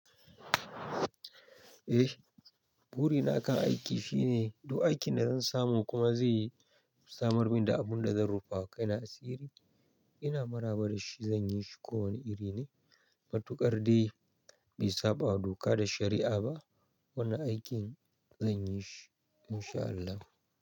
Eh, burina akan aiki shine duk aikin da zan samu kuma zai samar min da abun da zan rufawa kaina asiri, ina maraba da shi, zan yi shi kowane iri ne, matuƙar dai bai saɓa wa doka da shari'a ba, wannan aikin zan yi shi in sha Allah.